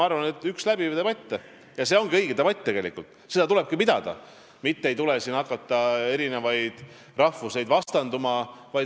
See ongi tegelikult õige debatt, seda tulebki pidada, mitte hakata siin rahvuseid vastandama.